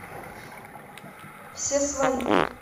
все свои